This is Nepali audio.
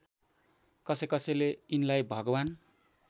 कसैकसैले यिनलाई भगवान्